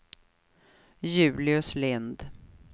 Julius Lindh